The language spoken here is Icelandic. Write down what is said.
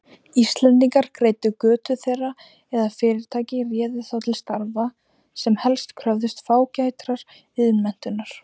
Íslendingar greiddu götu þeirra eða fyrirtæki réðu þá til starfa, sem helst kröfðust fágætrar iðnmenntunar.